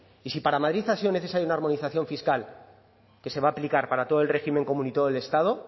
y si para madrid ha sido necesaria una armonización fiscal que se va a aplicar para todo el régimen común y todo el estado